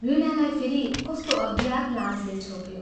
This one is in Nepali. वीणालाई फेरि कस्तो अज्ञात लाजले छोप्यो।